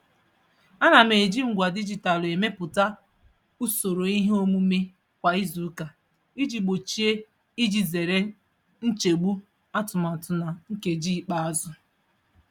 Ana m eji ngwa dijitalụ emepụta usoro ihe omume kwa izuụka iji gbochie iji zere nchegbu atụmatụ na nkeji ikpeazụ.